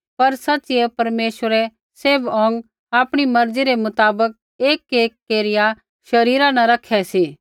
पर सच़िऐ परमेश्वरै सैभ अौंग आपणी मर्जी रै मुताबक एकएक केरिया शरीरा न रखी रै सी